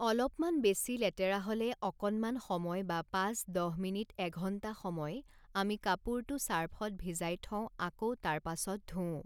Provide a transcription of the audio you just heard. অলপমান বেছি লেতেৰা হ'লে অকণমান সময় বা পাঁচ দহ মিনিট এঘণ্টা সময় আমি কাপোৰটো চাৰ্ফত ভিজাই থওঁ আকৌ তাৰ পাছত ধোওঁ